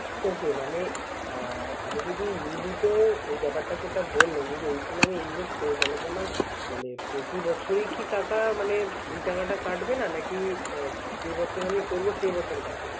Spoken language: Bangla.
ওকে মানে আমি যদি You lip এ এই ব্যাপারটা যে বললেন। যদি ওখানে আমি Invest করি তাহলে কি আমার মানে প্রতি বছর ই টাকা মানে কাটবে না নাকি যে বছর আমি করব সে বছর কাটবে না